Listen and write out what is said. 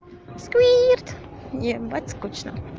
сквирт ебать скучно